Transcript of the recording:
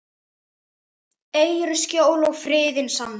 Eigirðu skjól og friðinn sanna.